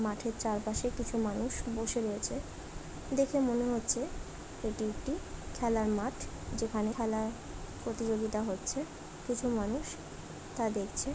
মাঠের চারপাশে কিছু মানুষ বসে রয়েছে। দেখে মনে হচ্ছে এটি একটি খেলার মাঠ। যেখানে খেলার প্রতিযোগিতা হচ্ছে। কিছু মানুষ তা দেখছে।